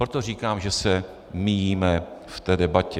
Proto říkám, že se míjíme v té debatě.